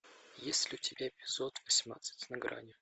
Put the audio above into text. есть ли у тебя эпизод восемнадцать на грани